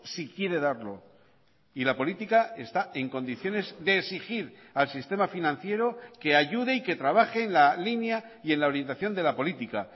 si quiere darlo y la política está en condiciones de exigir al sistema financiero que ayude y que trabajen la línea y en la orientación de la política